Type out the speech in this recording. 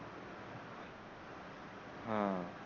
हा